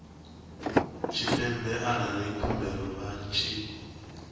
tshipembe arali khumbelo vha tshi